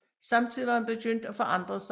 Samtidig var han begyndt at forandre sig